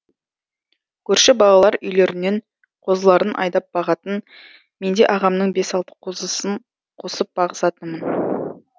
көрші балалар үйлерінен қозыларын айдап бағатын менде ағамның бес алты қозысын қосып бағысатынмын